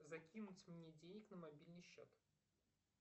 закинуть мне денег на мобильный счет